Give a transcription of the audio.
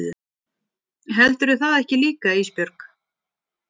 Heldurðu það ekki líka Ísbjörg?